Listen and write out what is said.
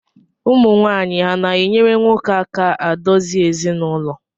Ụmụwaanyị ha na-enyere nwoke aka adozi ezinụlọ?